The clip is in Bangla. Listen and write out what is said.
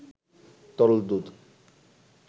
তরল দুধ